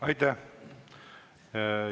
Aitäh!